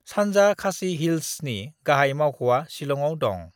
सानजा खासी हिल्सनि गाहाय मावख'आ शिलंआव दं।